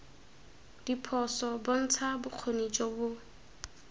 diphoso bontsha bokgoni jo bo